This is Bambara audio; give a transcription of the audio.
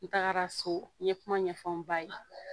N tagara so n ye kuma ɲɛfɔw n ba ye